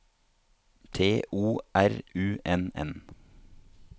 T O R U N N